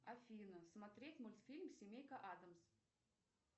афина смотреть мультфильм семейка адамс